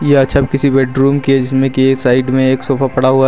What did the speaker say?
यह छव किसी बेडरूम की है जिसमें कि ये साइड में एक सोफा पड़ा हुआ --